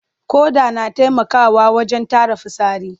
Ƙoda na taimakawa wajen tara fitsari.